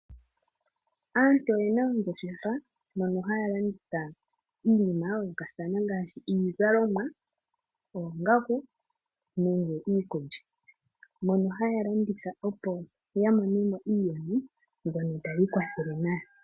Aantu oye na oongeshefa ndhono haya landitha iinima ya yoolokathana ngaashi iizalomwa, oongaku nenge iikulya, mono haya landitha opo ya mone mo iiyemo mbyono tayi ikwathele nayo.